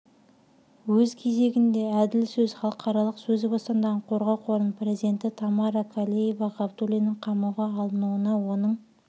өз кезегінде әділ сөз халықаралық сөз бостандығын қорғау қорының президенті тамара калеева ғабдуллиннің қамауға алынуына оның